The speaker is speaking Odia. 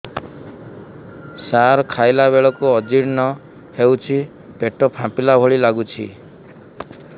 ସାର ଖାଇଲା ବେଳକୁ ଅଜିର୍ଣ ହେଉଛି ପେଟ ଫାମ୍ପିଲା ଭଳି ଲଗୁଛି